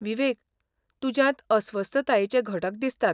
विवेक, तुज्यांत अस्वस्थतायेचे घटक दिसतात.